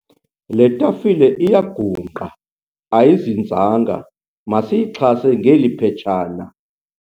Le tafile iyagungqa ayizinzanga masiyixhase ngeli phetshana.